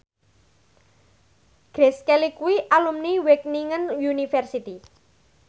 Grace Kelly kuwi alumni Wageningen University